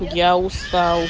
я устал